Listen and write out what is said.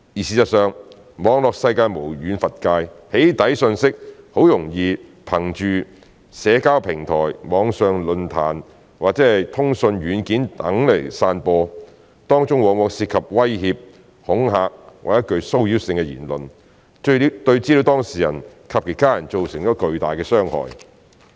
事實上，網絡世界無遠弗屆，"起底"訊息很容易憑藉社交平台、網上論壇或通訊軟件等散播，當中往往涉及威脅、恐嚇或具騷擾性的言論，對資料當事人及其家人造成巨大的傷害。